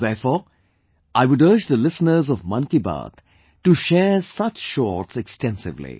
Therefore, I would urge the listeners of 'Mann Ki Baat' to share such shorts extensively